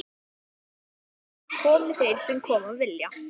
Komi þeir sem koma vilja.